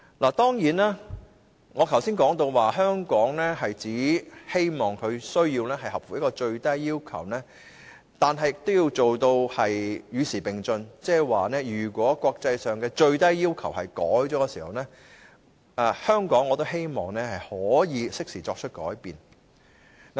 我剛才提到，希望香港只須符合最低要求，但我們也要做到與時並進，即是當國際上的最低要求有所改變時，香港亦會適時作出改變。